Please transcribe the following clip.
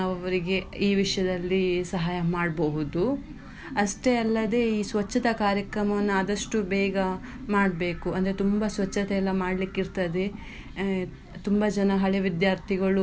ನಾವು ಅವರಿಗೆ ಈ ವಿಷಯದಲ್ಲಿ ಸಹಾಯ ಮಾಡ್ಬೋದು, ಅಷ್ಟೇ ಅಲ್ಲದೆ ಈ ಸ್ವಚ್ಛತಾ ಕಾರ್ಯಕ್ರಮವನ್ನ ಆದಷ್ಟು ಬೇಗ ಮಾಡ್ಬೇಕು ಅಂದ್ರೆ ತುಂಬ ಸ್ವಚ್ಛತೆ ಎಲ್ಲಾ ಮಾಡ್ಲಿಕ್ಕೆ ಇರ್ತದೆ ಆ ತುಂಬ ಜನ ಹಳೆ ವಿದ್ಯಾರ್ಥಿಗಳು.